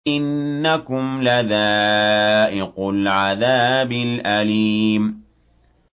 إِنَّكُمْ لَذَائِقُو الْعَذَابِ الْأَلِيمِ